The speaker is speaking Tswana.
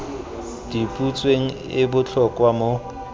di butsweng e botlhokwa mo